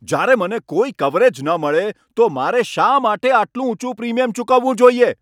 જયારે મને કોઈ કવરેજ ન મળે તો મારે શા માટે આટલું ઊંચું પ્રીમિયમ ચૂકવવું જોઈએ?